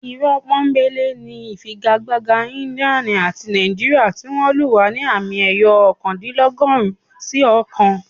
Irọ́ pọ́nńbélé ni ìfigagbága India àti Nàìjíríà tí wọ́n lù wá ní àmì ayò ọ̀kándínlọ́gọ́rùn-ún sí ọ̀kan